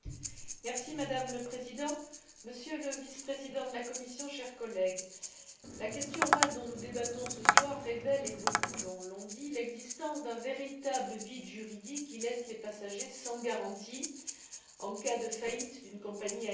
Madame la Présidente, Monsieur le Vice président de la Commission, chers collègues, la question orale dont nous débattons ce soir révèle, et beaucoup l'ont dit, l'existence d'un véritable vide juridique qui laisse les passagers sans garantie en cas de faillite d'une compagnie aérienne.